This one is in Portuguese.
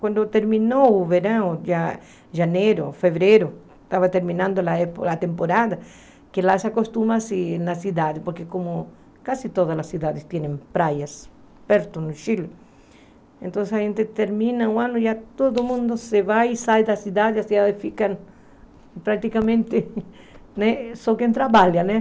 Quando terminou o verão, já janeiro, fevereiro, estava terminando a temporada, que lá se acostuma na cidade, porque como quase todas as cidades têm praias perto no Chile, então a gente termina o ano e todo mundo se vai e sai da cidade, a cidade fica praticamente né só quem trabalha, né?